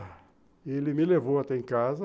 E ele me levou até em casa.